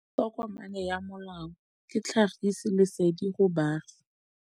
Tokomane ya molao ke tlhagisi lesedi go baagi.